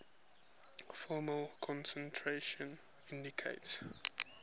formal concentration indicates